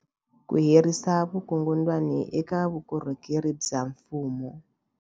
Ku herisa vukungundwani eka vukorhokeri bya mfumo.